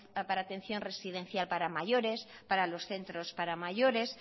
para atención residencia para mayores para los centros para mayores